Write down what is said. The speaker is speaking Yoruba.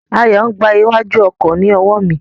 Ayo n gba iwájú ọkọ ni owo mi.